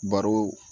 Baro